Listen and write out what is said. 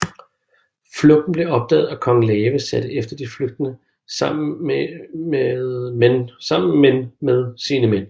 Flugten blev opdaget og Kong Lave satte efter de flygtende sammen men sine mænd